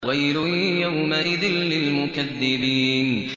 وَيْلٌ يَوْمَئِذٍ لِّلْمُكَذِّبِينَ